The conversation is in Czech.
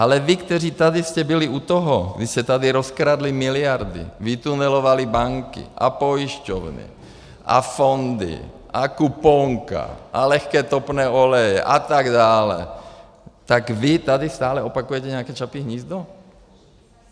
Ale vy, kteří tady jste byli u toho, když se tady rozkradly miliardy, vytunelovaly banky a pojišťovny a fondy a kuponka a lehké topné oleje a tak dále, tak vy tady stále opakujete nějaké Čapí hnízdo?